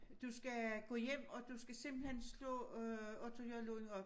Du skal gå hjem og du skal simpelthen slå øh Otto J Lund op